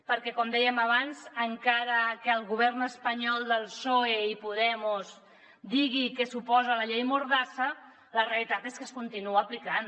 perquè com dèiem abans encara que el govern espanyol del psoe i podemos digui que s’oposa a la llei mordassa la realitat és que es continua aplicant